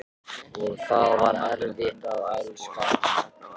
Og það var erfitt að elska hann.